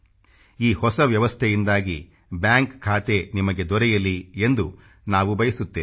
ಈ ಹೊಸ ವ್ವವಸ್ಥೆಯಿಂದಾಗಿ ಬ್ಯಾಂಕ್ ಖಾತೆ ನಿಮಗೆ ದೊರೆಯಲಿ ಎಂದು ನಾವು ಬಯಸುತ್ತೇವೆ